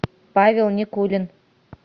павел никулин